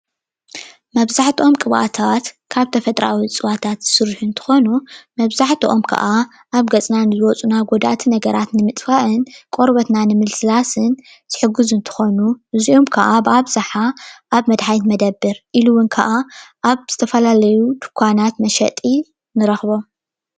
መብዛሕትኦም ቅብኣታት ካብ ተፈጥራዊ ዕፅዋታት ዝስርሑ እንትኮኑ መብዛሕትኦም ከዓ ኣብ ገፅና ንዝወፁና ጎዳእቲ ነገራት ንምጥፋእ, ቆርበትና ንምልስላስ ዝሕግዙ እንትኮኑ እዚኦም ከዓ ኣብ ኣብዝሓ ኣብ መድሓኒት መደብር ኢሉ እውን ከዓ ኣብ ዝተፈላለዩ ድንዃናት መሸጢ ንረክቦም።